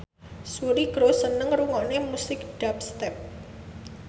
Suri Cruise seneng ngrungokne musik dubstep